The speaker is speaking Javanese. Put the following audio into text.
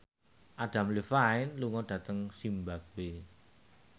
Adam Levine lunga dhateng zimbabwe